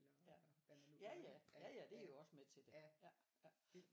Ja ja ja ja ja det er jo også med til det ja ja